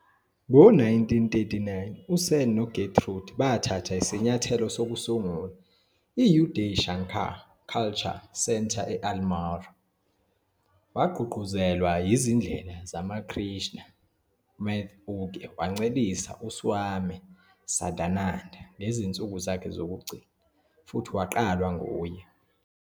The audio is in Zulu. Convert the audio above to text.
Ngo-1939, uSen noGertrude bathatha isinyathelo sokusungula i-Uday Shankar Cultural Centre e-Almora. Wagqugquzelwa izindela zaseRamakrishna MathUke wancelisa uSwami Sadananda ngezinsuku zakhe zokugcina futhi waqalwa nguye.